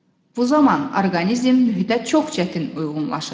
Bu zaman orqanizm mühitə çox çətin uyğunlaşır.